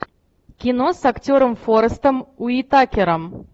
кино с актером форестом уитакером